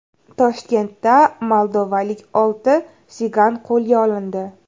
Toshkentda moldovalik olti sigan qo‘lga olindi.